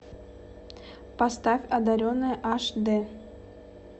поставь одаренная аш д